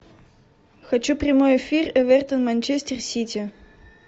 хочу прямой эфир эвертон манчестер сити